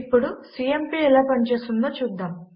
ఇప్పుడు సీఎంపీ ఎలా పని చేస్తుందో చూద్దాము